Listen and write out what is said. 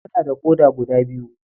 Muna da ƙoda guda biyu.